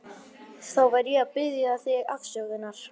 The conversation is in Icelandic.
Þvottahús í niðurgröfnum kjallara með fúkkalykt og músagangi.